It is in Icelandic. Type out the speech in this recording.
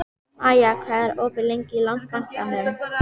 Maja, hvað er opið lengi í Landsbankanum?